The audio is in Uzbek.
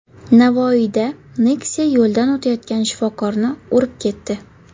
Navoiyda Nexia yo‘ldan o‘tayotgan shifokorni urib ketdi.